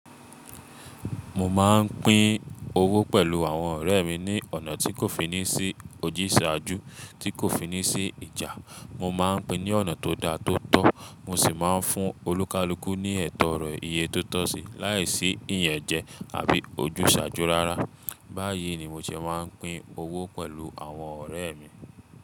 Mo máa ń pín owó pẹ̀lú àwọn ọ̀rẹ́ mi ní ọ̀nà tí kò fi ní sí ojúsàájú, tí kò fi ní sí ìjà. Mo máa ń pín ní ọ̀nà tó da tó tọ́, mo sì máa ń fún olúkalúkù ní ẹtọ ọ̀rọ̀ iye tó tọ́ sí, láìsí ìyẹ̀njẹ àbí ojúsàájú rárá. Báyìí ni mo ṣe máa ń pín owó pẹ̀lú àwọn ọ̀rẹ́ mi.